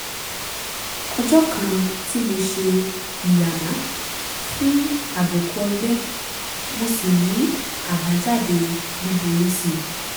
ọjọ́ kan tí mo ṣe ìyàmá fún àbùkù ọ̀gbẹ́ mo sì ní àbájáde búburú sí i